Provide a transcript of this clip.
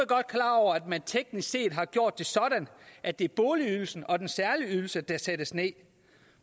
godt klar over at man teknisk set har gjort det sådan at det er boligydelsen og den særlige ydelse der sættes ned